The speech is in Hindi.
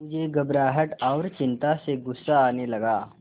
मुझे घबराहट और चिंता से गुस्सा आने लगा